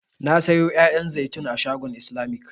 Na sayo 'ya'yan zaitun a shagon islamic.